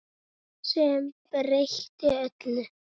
Sem breytti öllu.